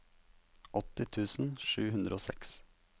åtti tusen sju hundre og seks